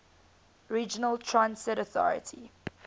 regional transit authority